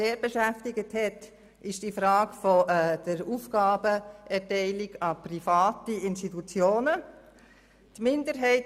Die Frage der Aufgabenerteilung an private Institutionen hat uns sehr beschäftigt.